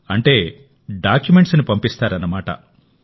అంటే డాక్యుమెంట్స్ ని పంపిస్తారన్నమాట